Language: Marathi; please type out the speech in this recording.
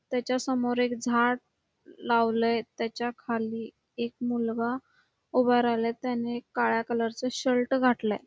त्याच्या समोर एक झाड लावलय त्याच्या खाली एक मुलगा उभा राहिलाय त्याने काळा कलर च शर्ट घातलाय.